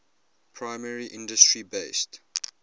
primary industry based